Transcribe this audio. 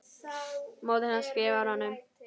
Móðir hans skrifar honum